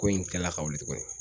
Ko in tilala ka wuli tuguni